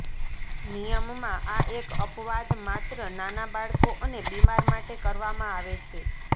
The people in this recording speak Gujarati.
નિયમમાં આ એક અપવાદ માત્ર નાના બાળકો અને બીમાર માટે કરવામાં આવે છે